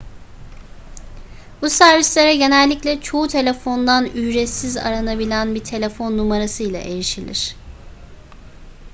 bu servislere genellikle çoğu telefondan ücretsiz aranabilen bir telefon numarasıyla erişilir